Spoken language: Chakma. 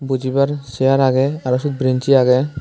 bojibar chair age aro se branchi age.